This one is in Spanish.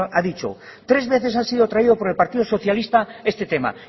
ha dicho tres veces ha sido traído por el partido socialista este tema